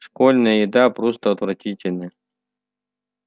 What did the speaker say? школьная еда просто отвратительна